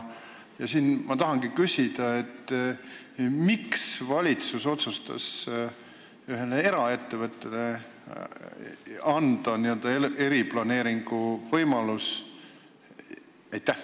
Miks otsustas valitsus anda ühele eraettevõttele eriplaneeringu võimaluse?